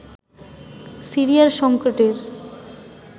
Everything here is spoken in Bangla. সিরিয়ার সংকটের